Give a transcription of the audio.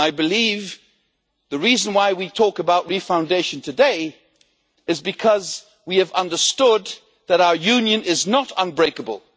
I believe the reason why we talk about re foundation today is because we have understood that our Union is not unbreakable.